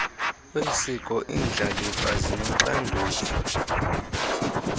wesiko iindlalifa zinoxanduva